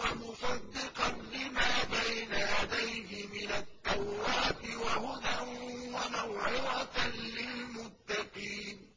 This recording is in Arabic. وَمُصَدِّقًا لِّمَا بَيْنَ يَدَيْهِ مِنَ التَّوْرَاةِ وَهُدًى وَمَوْعِظَةً لِّلْمُتَّقِينَ